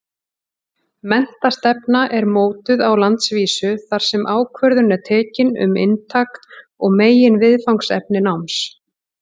Menntastefna er mótuð á landsvísu þar sem ákvörðun er tekin um inntak og meginviðfangsefni náms.